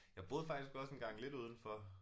Jeg boede faktisk også engang lidt udenfor